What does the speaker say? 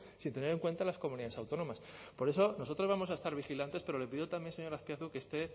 sin tener en cuenta las comunidades autónomas por eso nosotros vamos a estar vigilantes pero le pido también señor azpiazu que